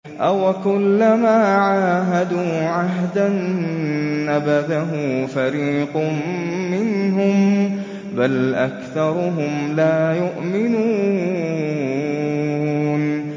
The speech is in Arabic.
أَوَكُلَّمَا عَاهَدُوا عَهْدًا نَّبَذَهُ فَرِيقٌ مِّنْهُم ۚ بَلْ أَكْثَرُهُمْ لَا يُؤْمِنُونَ